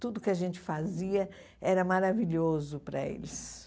Tudo que a gente fazia era maravilhoso para eles.